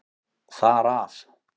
Þar af.